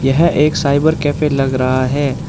यह एक cyber cafe लग रहा है।